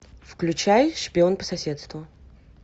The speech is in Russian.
включай шпион по соседству